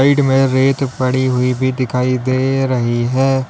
में रेत पड़ी हुई भी दिखाई दे रही है।